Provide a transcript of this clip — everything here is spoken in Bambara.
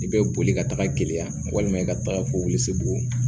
I bɛ boli ka taga gɛlɛya walima i ka taga ko wolose bugɔ